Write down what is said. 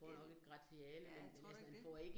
Ja. Ja, tror du ikke det?